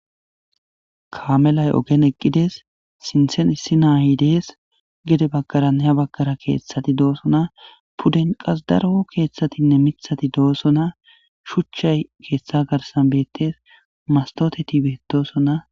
kaamelay ogen eqqides sinthen issi naayi dees gede bagkaraneha baggara keeththati doosona pudden qas daro keeththatinne mithati doosona shuchchay keeththa garsan beettes mastoteti beetosona